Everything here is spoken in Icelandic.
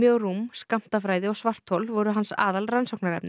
rúm skammtafræði og svarthol voru hans